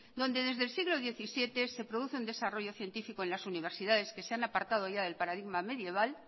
donde desde el siglo diecisiete se produce un desarrollo científico en las universidades que se han apartado ya del paradigma medieval